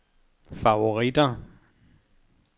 favoritter